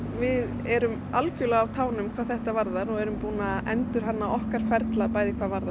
við erum algjörlega á tánum hvað þetta varðar og erum búin að endurhanna okkar ferla hvað varðar